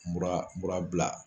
Mura mura bila